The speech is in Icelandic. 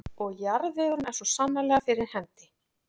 Og jarðvegurinn er svo sannarlega fyrir hendi.